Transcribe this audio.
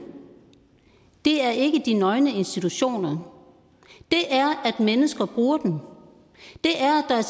er ikke de nøgne institutioner det er at mennesker bruger dem det er at der er